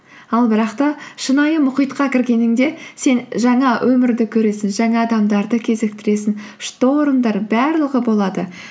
ал бірақ та шынайы мұхитқа кіргеніңде сен жаңа өмірді көресің жаңа адамдарды кезіктіресің штормдар барлығы болады